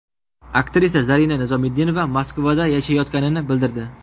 Aktrisa Zarina Nizomiddinova Moskvada yashayotganini bildirdi.